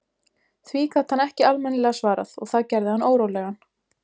Því gat hann ekki almennilega svarað og það gerði hann órólegan.